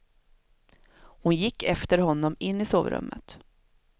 Hon gick efter honom in i sovrummet.